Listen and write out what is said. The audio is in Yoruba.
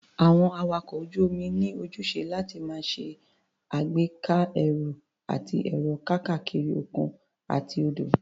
Àwọn awakọ̀ ojú-omi ní ojúṣe láti máa ṣe ìgbéka ẹrù àti èrò káàkiri òkun àti odò.